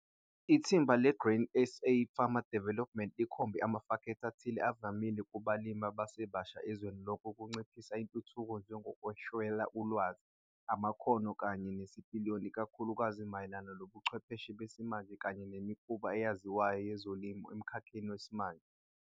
Ithimba le-Grain SA Farmer Development likhombe amafektha athile avamile kubalimi abasebasha ezweni lonke ukunciphisa intuthuko njengokweswela ulwazi, amakhono kanye nesipiliyoni ikakhulukazi mayelana nobuchwepheshe besimanje kanye nemikhuba eyaziwayo yezolimo emkhakheni wesimanje.